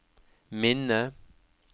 minne